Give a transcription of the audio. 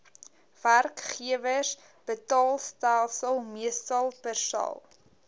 werkgewersbetaalstelsel meestal persal